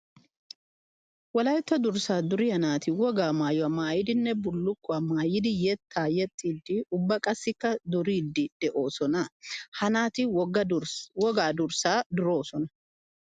Wolaytta durssa duriya naati wogaa maayuwa haddiyanne bullukkuwa maayiddi yetta yexxidde ubba qassikka duridde de'oosona. Ha naati wogaa durssa duroosona.